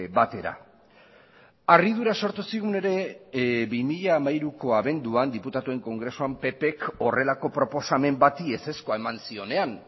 batera harridura sortu zigun ere bi mila hamairuko abenduan diputatuen kongresuan ppk horrelako proposamen bati ezezkoa eman zionean